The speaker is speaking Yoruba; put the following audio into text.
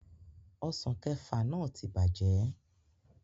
Ọsàn kẹẹ̀fà náà ti bàjẹ́